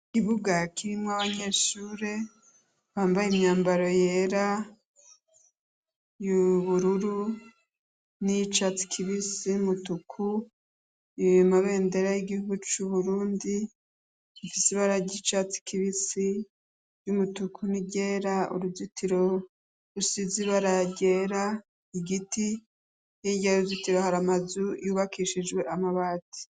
Ikibuga kirimwo abanyeshure bambaye imyambaro yera ,y'ubururu ,niyicatsi kibisi , numutuku , amabendera ry'igihugu cu Burundi rifise ryicatsi kibisi numutuku n'iryera, nuruzitiro rufise ibara ryera, Igiti Hirya yuruzitiro hari amazu yubakishijwe amabati.